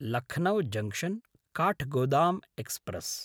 Lucknow junction Kathgodam express